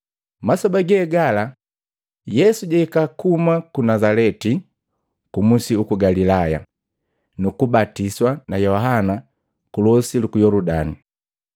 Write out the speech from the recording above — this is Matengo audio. Masoba ge gala, Yesu jwahika kuhuma ku Nazaleti ku musi uku Galilaya, nu kubatiswa na Yohana ku losi luku Yoludani.